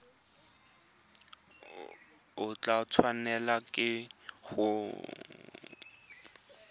o tla tshwanelwa ke go